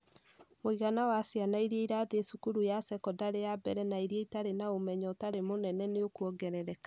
Mũigana wa ciana irĩa irathiĩ cukuru ya sekondarĩ ya mbere na irĩa itarĩ na ũmenyo ũtarĩ mũnene nĩ ũkũongerereka.